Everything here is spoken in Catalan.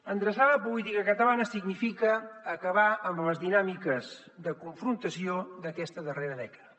endreçar la política catalana significa acabar amb les dinàmiques de confrontació d’aquesta darrera dècada